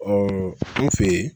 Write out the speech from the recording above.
an fɛ yen